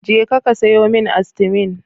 Jeka ka sayo min Astimin.